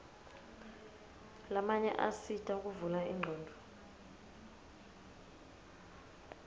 lamanye asita kuvula ingcondvo